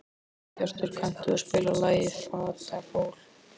Sæbjartur, kanntu að spila lagið „Fatlafól“?